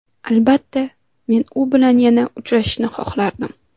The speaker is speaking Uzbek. Albatta, men u bilan yana uchrashishni xohlardim.